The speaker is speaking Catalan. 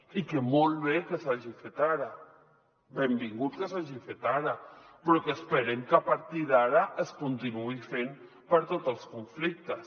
i molt bé que s’hagi fet ara benvingut que s’hagi fet ara però esperem que a par·tir d’ara es continuï fent per a tots els conflictes